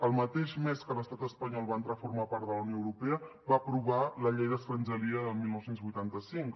el mateix mes que l’estat espanyol va entrar a formar part de la unió europea va aprovar la llei d’estrangeria del dinou vuitanta cinc